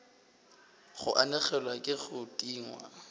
go anegelwa ke go tingwa